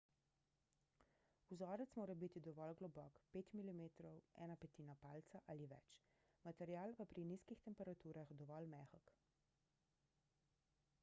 vzorec mora biti dovolj globok 5 mm 1/5 palca ali več material pa pri nizkih temperaturah dovolj mehek